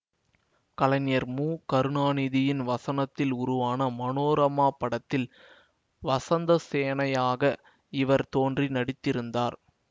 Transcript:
கலைஞர் மு கருணாநிதியின் வசனத்தில் உருவான மனோரம்மா படத்தில் வசந்த சேனையாக இவர் தோன்றி நடித்திருந்தார்